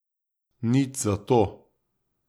Nič zato.